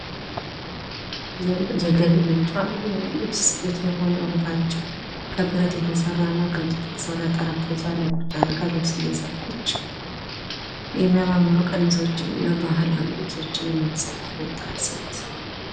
የገቢ ምንጯ የልብስ ስፌት የሆነው እህቶቻችን ከብረት የተሰራና ከእንጨት የተሰራ ጠረጴዛ ላይ ቁጭ አድርጋ ልብስ እየሰፋች የሚያማምሩ ቀሚሶችንና ባህላዊ ልብሶችን የምትሰፋ ወጣት ሴት።